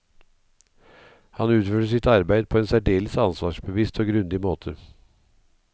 Han utførte sitt arbeid på en særdeles ansvarsbevisst og grundig måte.